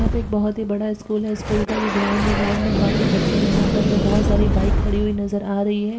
यहाँ पे एक बहुत ही बड़ा स्कूल है स्कूल का ये ग्राउंड है। ग्राउंड में काफी बच्चे यहाँ पर है। बहुत सारी बाइक खड़ी हुई नजर आ रही है।